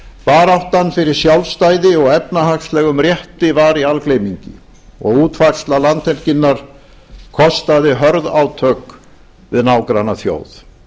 baráttan fyrir sjálfstæði og efnahagslegum rétti var í algleymingi og útfærsla landhelginnar kostaði hörð átök við nágrannaþjóð